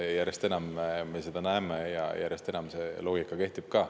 Järjest enam me seda näeme ja järjest enam see loogika kehtib.